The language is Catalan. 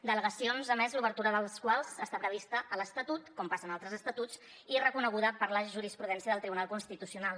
delegacions a més l’obertura de les quals està prevista a l’estatut com passa en altres estatuts i reconeguda per la jurisprudència del tribunal constitucional